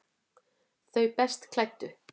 Þau best klæddu